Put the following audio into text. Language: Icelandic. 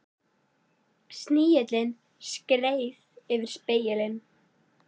Snigillinn skreið yfir spegilinn.